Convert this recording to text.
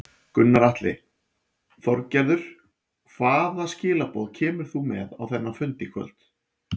Gunnar Atli: Þorgerður hvaða skilaboð kemur þú með á þennan fund í kvöld?